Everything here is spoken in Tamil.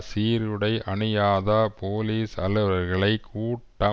சீருடையணியாத போலிஸ் அலுவலர்களை கூட்ட